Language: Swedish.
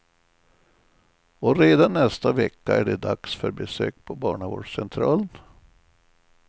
Och redan nästa vecka är det dags för besök på barnavårdscentralen.